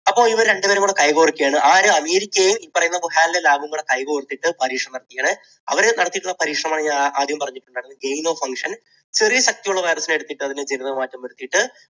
അപ്പോൾ ഇവർ രണ്ടുപേരും കൂടെ കൈകോർക്കുകയാണ്. ആര്? അമേരിക്കയും ഈ പറയുന്ന വുഹാൻ lab കൂടി കൈ കോർത്തിട്ട് പരീക്ഷണങ്ങൾ അവരെ നടത്തിയിട്ടുള്ള പരീക്ഷണമാണ് ഞാൻ ആദ്യം പറഞ്ഞിട്ടുണ്ടായിരുന്നു. genome function ചെറിയ ശക്തിയുള്ള virus നെ എടുത്തിട്ട് അതിനു ജനിതക മാറ്റം വരുത്തിയിട്ട്